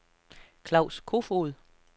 Klaus Koefoed